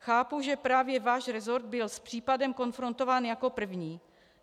Chápu, že právě váš resort byl s případem konfrontován jako první.